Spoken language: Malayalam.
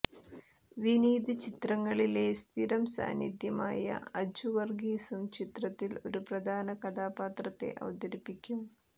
വിനീത് ചിത്രങ്ങളിലെ സ്ഥിരം സാന്നിധ്യമായ അജു വർഗീസും ചിത്രത്തിൽ ഒരു പ്രധാന കഥാപാത്രത്തെ അവതരിപ്പിക്കും